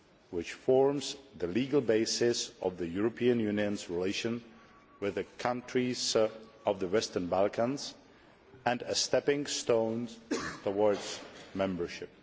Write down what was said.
which forms the legal basis of the European Union's relations with the countries of the Western Balkans and a stepping stone towards membership.